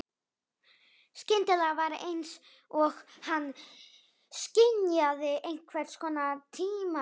Skyndilega var einsog hann skynjaði einhvers konar tímavillu.